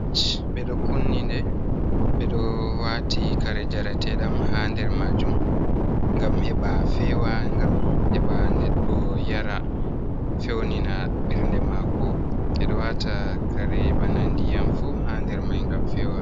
Ɓe ɗo ''kunni'' nde, ɓe ɗo waati kare njareteeɗam haa nder maajum ngam heɓa feewa, ngam heɓa neɗdo yara feewnina ɓernde maako. Ɓe ɗo waata kare bana ndiyam fuu haa nder may ngam feewa.